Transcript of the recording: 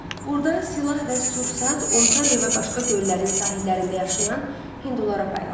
Burda silah və sursat Ontariyo və başqa göllərin sahillərində yaşayan Hindulara paylanır.